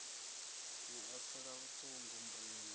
ni a pfela vhuṱungu murendi